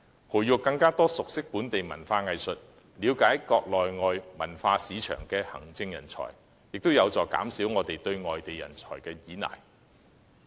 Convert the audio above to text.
培育更多熟悉本地文化藝術，並了解國內外文化市場的行政人才，亦有助減少我們對外地人才的依賴。